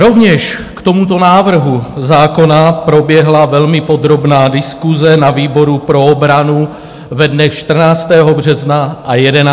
Rovněž k tomuto návrhu zákona proběhla velmi podrobná diskuse na výboru pro obranu ve dnech 14. března a 11. dubna.